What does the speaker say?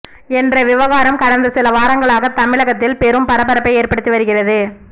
என்ற விவகாரம் கடந்த சில வாரங்களாக தமிழகத்தில் பெரும் பரபரப்பை ஏற்படுத்தி வருகிறது